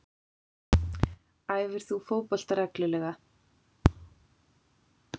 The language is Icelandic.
Æfir þú fótbolta reglulega?